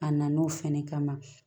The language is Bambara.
A na n'o fɛnɛ kama